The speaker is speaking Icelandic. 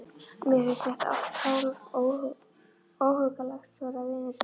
Mér finnst þetta allt hálf óhuggulegt, sagði Venus undan